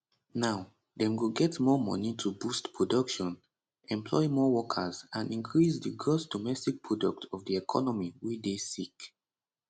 now dem go get more money to boost production employ more workers and increase di gross domestic product of di economy wey dey sick